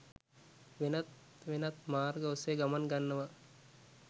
වෙනත් වෙනත් මාර්ග ඔස්සේ ගමන් ගන්නවා.